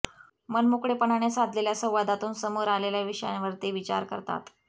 मनमोकळेपणाने साधलेल्या संवादातून समोर आलेल्या विषयांवर ते विचार करतात